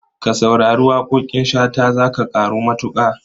Ka saurari waƙoƙin Shata za ka ƙaru matuƙa.